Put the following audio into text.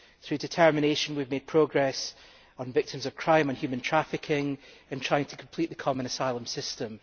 Through determination we have made progress on victims of crime and human trafficking in trying to complete the Common Asylum System.